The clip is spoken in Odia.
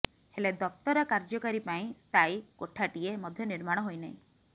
ହେଲେ ଦପ୍ତର କାର୍ଯ୍ୟକାରୀ ପାଇଁ ସ୍ଥାୟୀ କୋଠାଟିଏ ମଧ୍ୟ ନିର୍ମାଣ ହୋଇନାହିଁ